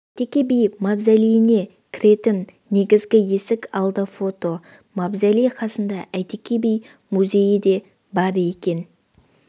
әйтеке би мавзолейіне кіретін негізгі есік алды фото мавзолей қасында әйтеке би музейі де бар екен